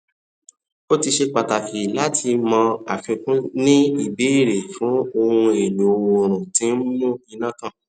o tin ṣe pàtàkì láti mọ àfikún ní ìbéèrè fún ohun èlò oòrùn tí n mú iná tàn